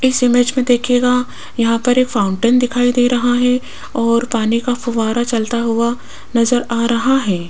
इस इमेज में देखिएगा यहां पर एक फाउंटेन दिखाई दे रहा है और पानी का फुव्वारा चलता हुआ नजर आ रहा है।